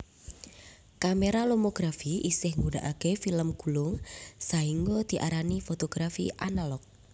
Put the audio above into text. Kamera lomografi isih gunakake film gulung sahingga diarani fotografi analog